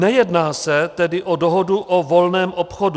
Nejedná se tedy o dohodu o volném obchodu.